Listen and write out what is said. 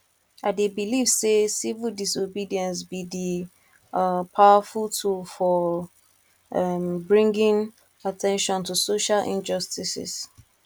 i dey believe say civil disobedience be di um powerful tool for um bringing at ten tion to social injustices